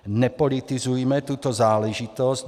Nepolitizujme tuto záležitost.